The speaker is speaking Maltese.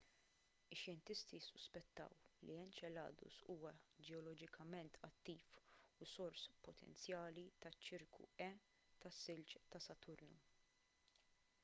ix-xjentisti ssuspettaw li enceladus huwa ġeoloġikament attiv u sors potenzjali taċ-ċirku e tas-silġ ta' saturnu